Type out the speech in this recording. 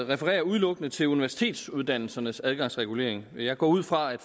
refererer udelukkende til universitetsuddannelsernes adgangsregulering men jeg går ud fra at